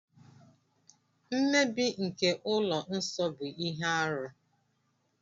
Mmebi nke ụlọ nsọ bụ ihe arụ.